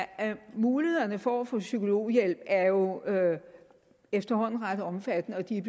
mulighederne for at få psykologhjælp er jo er jo efterhånden ret omfattende og de er